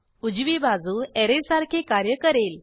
उजवी बाजू ऍरे सारखे कार्य करेल